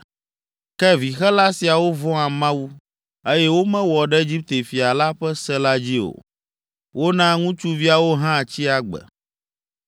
Ke vixela siawo vɔ̃a Mawu, eye womewɔ ɖe Egipte fia la ƒe se la dzi o, wona ŋutsuviawo hã tsi agbe.